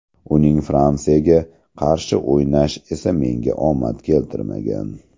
Uning Fransiyasiga qarshi o‘ynash esa menga omad keltirmagan.